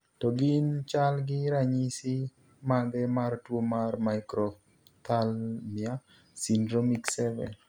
To gin chal gi ranyisi mage mar tuo mar Microphthalmia syndromic 7?